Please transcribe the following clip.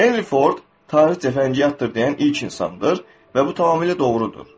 Henry Ford tarix cəfəngiyatdır deyən ilk insandır və bu tamamilə doğrudur.